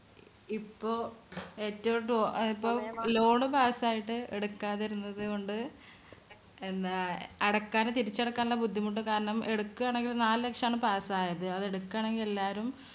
ഇപ്പോ ഏറ്റവും അ ഇപ്പോ loan pass യിട്ട് എടുക്കാതിരുന്നതുകൊണ്ട് എന്താ അടക്കാതെ തിരിച്ചടക്കാനുള്ള ബുദ്ധിമുട്ട് കാരണം എടുക്കാണെങ്കിൽ നാല് ലക്ഷമാണ് pass യത്. അതെടുക്കാണെങ്കിൽ എല്ലാരും